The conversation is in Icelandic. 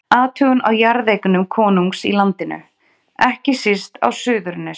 Athugun á jarðeignum konungs í landinu, ekki síst á Suðurnesjum.